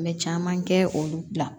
An bɛ caman kɛ olu la